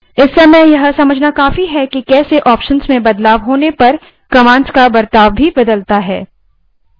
इस समय यह समझना काफी है कि कैसे options में बदलाव होने पर command का बर्ताव बदलता है